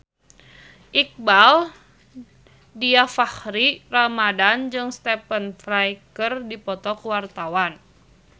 Iqbaal Dhiafakhri Ramadhan jeung Stephen Fry keur dipoto ku wartawan